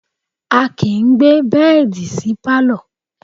A kìí gbé bẹ́ẹ̀dì sí Pálọ̀.